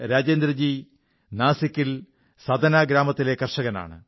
രജേന്ദ്രജി നാസിക്കിൽ സതനാ ഗ്രാമത്തിലെ കർഷകനാണ്